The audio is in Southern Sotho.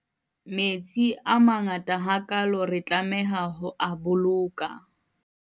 metsi a a mangaata ha kaalo re tlameha ho a boloka